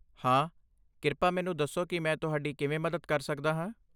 ਹਾਂ, ਕਿਰਪਾ ਮੈਨੂੰ ਦੱਸੋ ਕਿ ਮੈਂ ਤੁਹਾਡੀ ਕਿਵੇਂ ਮਦਦ ਕਰ ਸਕਦਾ ਹਾਂ।